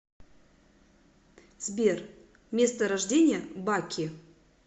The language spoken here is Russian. сбер место рождения баки